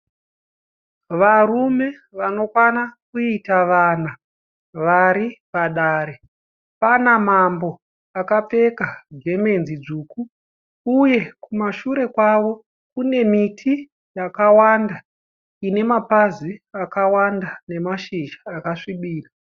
Varume vanokwana kuita vana vari padare. Pana mambo akapfeka gemenzi dzvuku uye kumashure kwavo kune miti yakawanda ine mapazi akawanda nemashizha akasvibira.